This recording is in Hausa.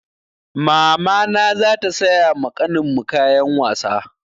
Mamana za ta saya ma ƙanin mu kayan wasa.